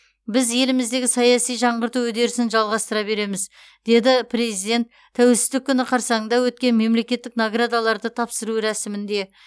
біз еліміздегі саяси жаңғырту үдерісін жалғастыра береміз деді президент тәуелсіздік күні қарсаңында өткен мемлекеттік наградаларды тапсыру рәсімінде